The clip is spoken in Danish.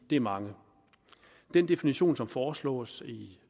det er mange den definition som foreslås i